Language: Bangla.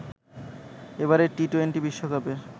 এবারের টি-টোয়েন্টি বিশ্বকাপের